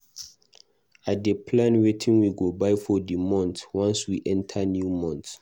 I dey plan wetin we go buy for di month once we enta new month.